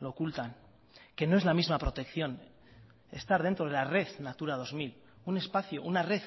lo ocultan que no es la misma protección estar dentro de la red natura dos mil un espacio una red